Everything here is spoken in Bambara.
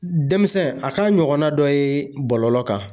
Denmisɛn a ka ɲɔgɔnna dɔ ye bɔlɔlɔ kan